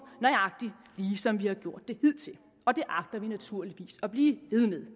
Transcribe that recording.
nøjagtig ligesom vi har gjort det hidtil og det agter vi naturligvis at blive ved med